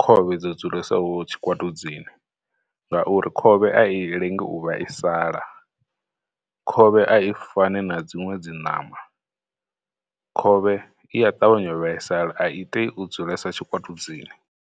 khovhe dzo dzulesaho tshikwatudzini ngauri khovhe a i lengi u vhaisala, khovhe a i fani na dziṅwe dzi ṋama, khovhe iya ṱavhanya u vhaisala, a i tei u dzulesa tshikwatudzini.